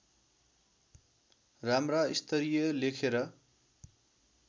राम्रा स्तरीय लेखेर